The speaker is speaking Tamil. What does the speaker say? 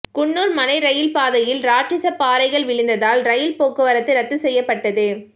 குன்னூர் மலை ரயில் பாதையில் ராட்சத பாறைகள் விழுந்ததால் ரயில் போக்குவரத்து ரத்து செய்யப்பட்டது